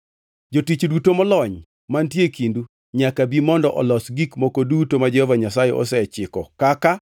“Jotich duto molony mantie e kindu nyaka bi mondo olos gik moko duto ma Jehova Nyasaye osechiko kaka: